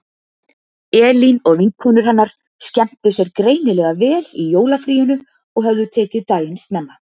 Elín og vinkonur hennar skemmtu sér greinilega vel í jólafríinu og höfðu tekið daginn snemma.